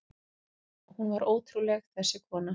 Hún var ótrúleg, þessi kona.